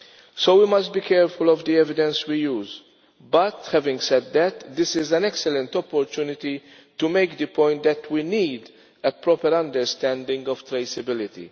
So we must be careful of the evidence we use, but having said that, this is an excellent opportunity to make the point that we need a proper understanding of traceability.